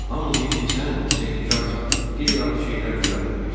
Hamı deyir ki, sən sehrkarsan, qeyri-adi şeylər düzəldə bilirsən.